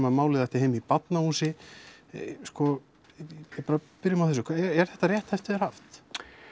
að málið ætti heima í Barnahúsi sko bara byrjum á þessu er rétt eftir þér haft